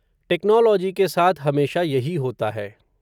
technology के साथ हमेशा यही होता है